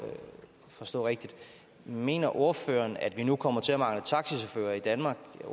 forstå rigtigt mener ordføreren at vi nu kommer til at mangle taxachauffører i danmark